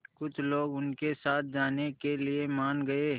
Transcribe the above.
कुछ लोग उनके साथ जाने के लिए मान गए